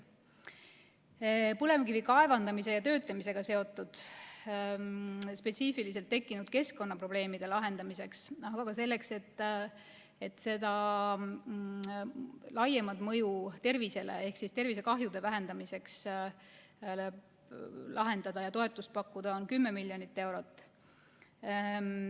Põlevkivi kaevandamise ja töötlemisega seotud spetsiifiliselt tekkinud keskkonnaprobleemide lahendamiseks, aga ka selleks, et anda laiemat mõju tervisele ehk tervisekahjude vähendamiseks toetust pakkuda, on ette nähtud 10 miljonit eurot.